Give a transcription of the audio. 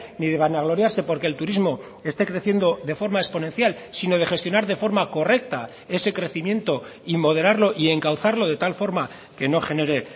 ni de vanagloriarse porque el turismo esté creciendo de forma exponencial sino de gestionar de forma correcta ese crecimiento y moderarlo y encauzarlo de tal forma que no genere